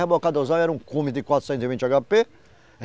Rebocadorzão era um de quatrocentos e vinte agá pê.